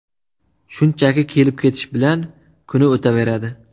Shunchaki kelib-ketish bilan kuni o‘taveradi.